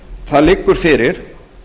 það liggur fyrir